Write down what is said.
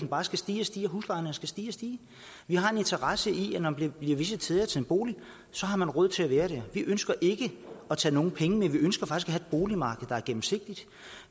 bare skal stige og stige at huslejen skal stige og stige vi har en interesse i at når man bliver visiteret til en bolig har man råd til at være der vi ønsker ikke at tage nogen penge vi ønsker faktisk boligmarked der er gennemsigtigt